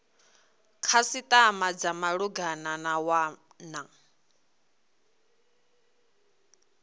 khasitama dza malugana na wana